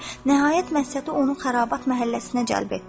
Nəhayət Məsləti onu Xərabat məhəlləsinə cəlb etdi.